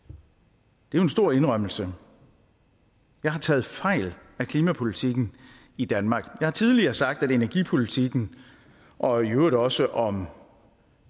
det er jo en stor indrømmelse jeg har taget fejl af klimapolitikken i danmark jeg har tidligere sagt om energipolitikken og i øvrigt også om